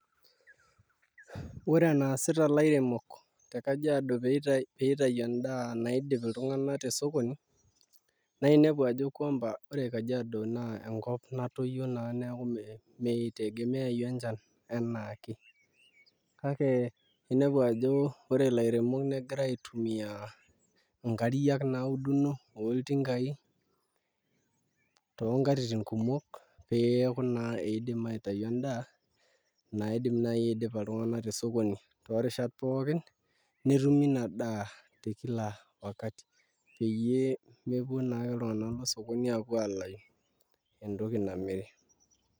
Ore enaasita ilairemopk te Kajiado pee itau endaa naidip tesokoni naa inepu ajo kwamba ore Kajiado naa enkop natoyio naa neeku mitegemeayu enchan enaake kake inepu ajo ore ilairemok negira aitumiaa